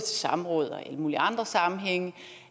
samråd og i alle mulige andre sammenhænge